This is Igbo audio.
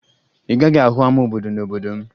Ị gaghị ahụ ama obodo n'obodo m